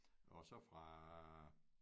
Og så fra